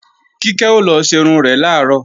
Kíkẹ́ ó lọ ṣerun rẹ̀ làárọ̀